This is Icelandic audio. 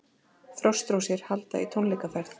Frostrósir halda í tónleikaferð